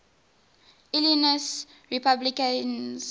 illinois republicans